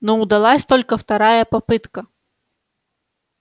но удалась только вторая попытка